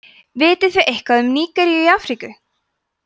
vitið þið eitthvað um nígeríu í afríku